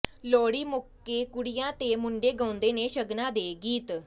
ਲੋਹੜੀ ਮੌਕੇ ਕੁੜੀਆਂ ਤੇ ਮੁੰਡੇ ਗਾਉਂਦੇ ਨੇ ਸ਼ਗਨਾਂ ਦੇ ਗੀਤ